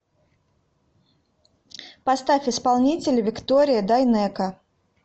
поставь исполнителя виктория дайнеко